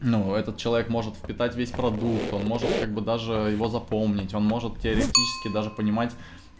ну этот человек может впитать весь продукт он может как бы даже его запомнить он может теоретически даже понимать